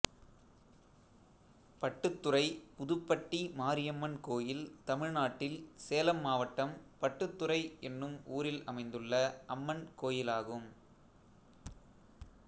பட்டுத்துறை புதுப்பட்டி மாரியம்மன் கோயில் தமிழ்நாட்டில் சேலம் மாவட்டம் பட்டுத்துறை என்னும் ஊரில் அமைந்துள்ள அம்மன் கோயிலாகும்